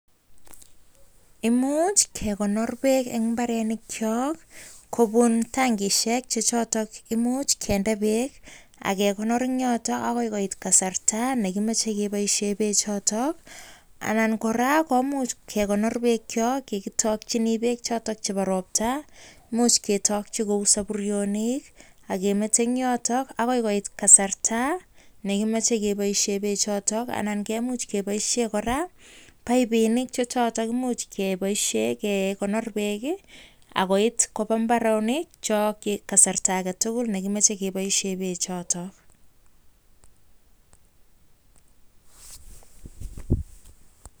Imuch kekonor beek eng imbarenik chok kobun tangishek chechoto kemuch kinde beek, agekonor eng yotok agoi koit kasrta nekimachei akeboishe bechotok, anan kora kemuch kekonor beek chok chekitokchini beek chebo robta , imuch ketokchi saburyonik agekonor eng yotok agoi koit kasrta nekimachei keboishe . imuch keboishe kora paipinik agekonor koba imbarenik agoi koit kasrta nekimachei keboishe bechotok